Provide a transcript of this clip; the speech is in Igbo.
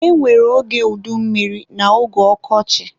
E nwere oge udummiri na oge ọkọchị